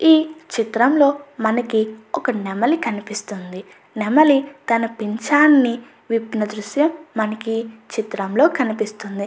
ఈ చిత్రంలో మనకి ఒక నెమలి కనిపిస్తుంది. నెమలి తన పించాన్ని విప్పిన దృశ్యం మనకి ఈ చిత్రంలో కనిపిస్తుంది.